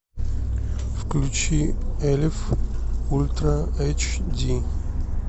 включи эльф ультра эйч ди